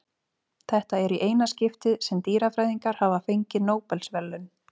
Þetta er í eina skiptið sem dýrafræðingar hafa fengið Nóbelsverðlaun.